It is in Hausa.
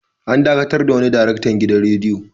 An dakatar da wani daraktan gidan radiyo.